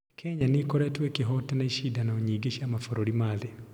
Kenya nĩ ĩkoretwo ĩkĩhootana icindano nyingĩ cia mabũrũri ma thĩ.